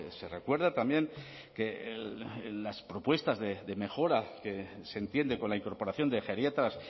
se recuerda también que las propuestas de mejora que se entiende con la incorporación de geriatras